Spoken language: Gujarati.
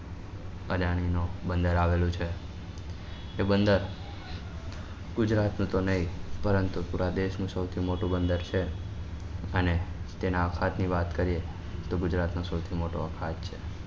નું બંદર આવેલું છે તે બંદર ગુજરાત નું તો નહી પરંતુ પુરા દેશ નું સૌથી મોટું બંદર છે અને તેના અખાત ની વાત કરીએ તો ગુજરાત નો સૌથી મોટો બંદર છે